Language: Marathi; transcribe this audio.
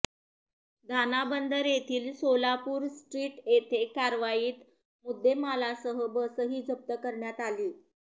दाना बंदर येथील सोलापूर स्ट्रीट येथे कारवाईत मुद्देमालासह बसही जप्त करण्यात आली